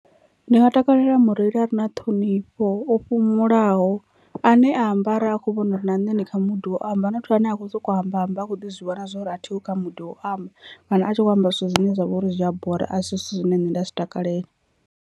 Ndi nga takalela mureili a re na ṱhonifho o fhumulaho ane a amba arali a kho vhona uri na nṋe ndi kha mudi wo amba, not ane a kho soko amba amba a kho ḓi zwi vhona zwori a thiho kha mudi wo amba kana a tshi kho amba zwithu zwine zwa vha uri zwi a bora a si zwithu zwine nṋe nda zwi takalela.